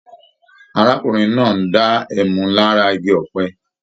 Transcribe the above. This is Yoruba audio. Arákùnrin náà ń dá ẹmu lára Igi ọ̀pẹ